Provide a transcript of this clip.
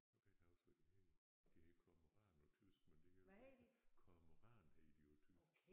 Nu kan jeg ikke huske hvad de hedder de hedder Kormoran på tysk men det kan jo ikke Kormoran hedder de på tysk